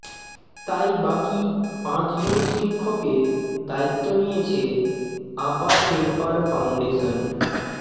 তাই বাকি পাঁচ জন শিক্ষকের দায়িত্ব নিয়েছে আপা শেরপার ফাউন্ডেশন